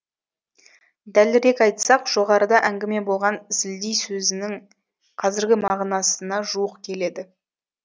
дәлірек айтсақ жоғарыда әңгіме болған зілдей сөзінің қазіргі мағынасына жуық келеді